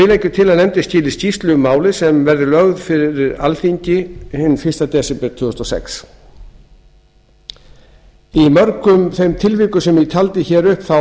við leggjum til að nefndin skili skýrslu um málið sem verði lögð fyrir alþingi fyrir fyrsta desember tvö þúsund og sex í mörgum þeim tilvikum sem ég taldi hér upp þá